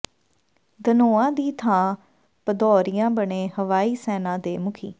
ਧਨੋਆ ਦੀ ਥਾਂ ਭਦੌਰੀਆ ਬਣੇ ਹਵਾਈ ਸੈਨਾ ਦੇ ਮੁਖੀ